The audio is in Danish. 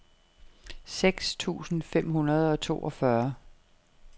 seks tusind fem hundrede og toogfyrre